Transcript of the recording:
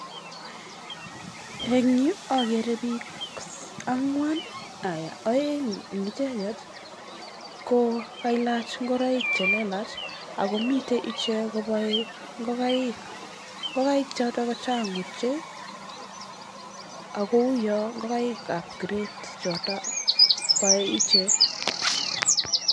En yu ogere biik angwan, oeng' en icheget kokailach ngoroik che lelach ago miten ichek kobae ingokaik. Ingokaik choto ko chang' ochei! Ago uwon ngokaik ab kiret choto boe ichek.